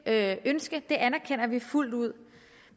det ønske anerkender vi fuldt ud